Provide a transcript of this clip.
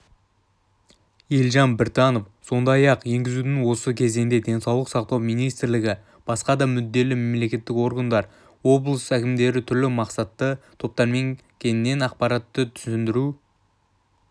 елжан біртанов сондай-ақ енгізудің осы кезеңінде денсаулық сақтау министрлігі басқа да мүдделі мемлекеттік органдар облыс әкімдіктерінің түрлі мақсатты топтармен кеңінен ақпараттық-түсіндіру